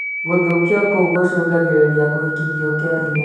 Gũthũkio kũu gũcũngagĩrĩria kũhikithio kĩa hinya